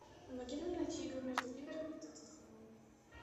помоги нам найти игру между ливером и тоттенхэмом